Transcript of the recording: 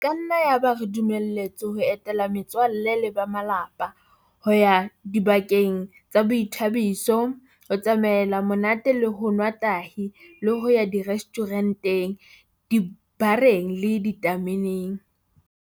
E ka nna ya ba re dumeletswe ho etela me tswalle le ba malapa, ho ya dibakeng tsa boithabiso, ho tsamaela monate le ho nwa tahi le ho ya direstjhure nteng, dibareng le ditame neng.